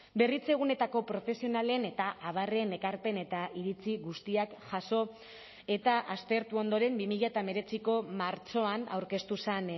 berritzeguneetako profesionalen eta abarren ekarpen eta iritzi guztiak jaso eta aztertu ondoren bi mila hemeretziko martxoan aurkeztu zen